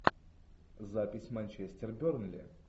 запись манчестер бернли